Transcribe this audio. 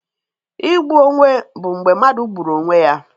Igbu onwe bụ mgbe mmadụ gburu onwe ya.